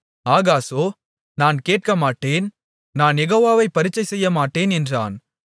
ஆகாசோ நான் கேட்கமாட்டேன் நான் யெகோவாவைப் பரீட்சை செய்யமாட்டேன் என்றான்